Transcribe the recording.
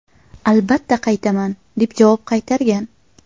Albatta qaytaman!” deb javob qaytargan.